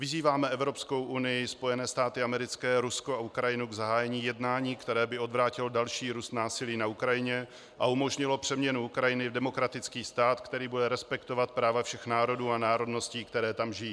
"Vyzýváme Evropskou unii, Spojené státy americké, Rusko a Ukrajinu k zahájení jednání, které by odvrátilo další růst násilí na Ukrajině a umožnilo přeměnu Ukrajiny v demokratický stát, který bude respektovat práva všech národů a národností, které tam žijí.